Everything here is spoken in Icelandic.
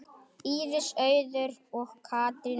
Íris Auður og Katrín Ósk.